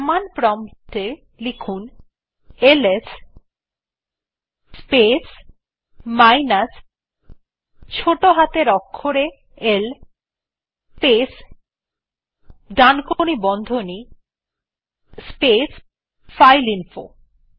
command prompt এ লিখুন LS space minus ছোটো হাতের অক্ষরে l space right angle bracket space file info